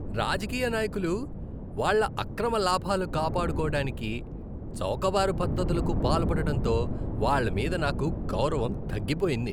రాజకీయ నాయకులు వాళ్ళ అక్రమ లాభాలు కాపాడుకోవడానికి చౌకబారు పద్ధతులకు పాల్పడడంతో వాళ్ళ మీద నాకు గౌరవం తగ్గిపోయింది.